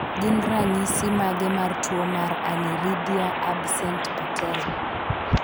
Gin ranyisis mage mar tuo mar Aniridia absent patella?